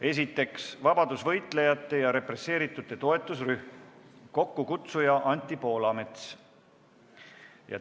Esiteks, vabadusvõitlejate ja represseeritute toetusrühm, kokkukutsuja Anti Poolamets.